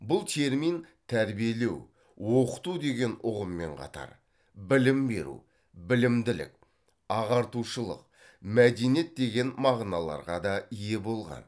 бұл термин тәрбиелеу оқыту деген ұғыммен қатар білім беру білімділік ағартушылық мәдениет деген мағыналарға да ие болған